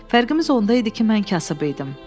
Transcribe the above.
Fərqimiz onda idi ki, mən kasıb idim.